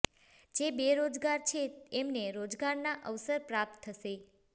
જે બેરોજગાર છે એમને રોજગારના અવસર પ્રાપ્ત થશે